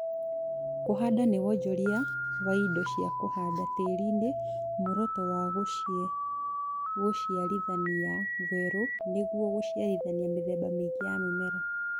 Kũhanda nĩ wonjoria wa indo cia kũhanda tĩriinĩ muoroto wa gũciarithania werũ nĩguo gũciarithania mĩthemba mĩingĩ ya mĩmera